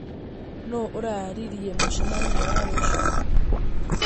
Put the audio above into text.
Nũũ ũraarĩirie mũcemanio wa rũciũ